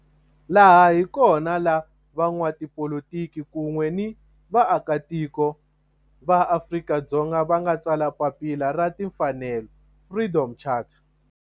Laha hi kona la van'watipolitiki kun'we ni vaaka tiko va Afrika-Dzonga va nga tsala papila ra timfanelo, Freedom Charter.